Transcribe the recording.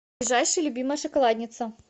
ближайший любимая шоколадница